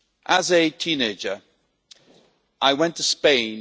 As a teenager, I went to Spain.